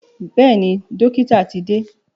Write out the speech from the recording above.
Bẹ́ẹ̀ni, dọ́kítà ti dé.